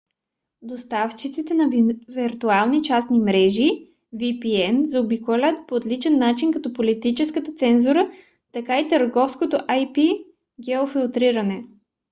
доставчиците на виртуални частни мрежи vpn заобикалянт по отличен начин както политическата цензура така и търговското ip-геофилтриране